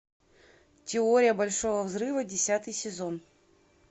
теория большого взрыва десятый сезон